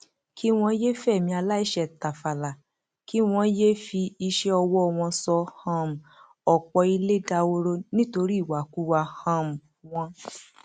kí wọn yéé fẹmí aláìṣẹ tàfàlà kí wọn yéé fi iṣẹ ọwọ wọn sọ um ọpọ ilẹ dahoro nítorí ìwàkuwà um wọn